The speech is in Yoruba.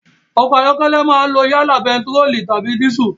Ọkọ̀ ayọ́kẹ́lẹ́ máa lo yálà bẹntiróòlù tàbí dísù.